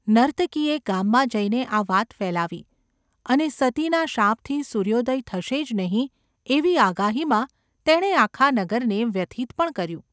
નર્તકીએ ગામમાં જઈને આ વાત ફેલાવી, અને સતીના શાપથી સૂર્યોદય થશે જ નહિ એવી આગાહીમાં તેણે આખા નગરને વ્યથિત પણ કર્યું.